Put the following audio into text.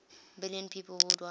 million people worldwide